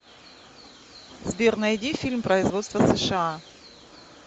сбер найди фильм производства сша